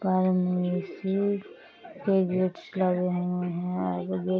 ऊपर में आई.सी.यू. के बेड लगे हुए है और आगे गेट --